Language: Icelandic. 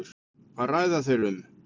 Hvað ræða þeir um?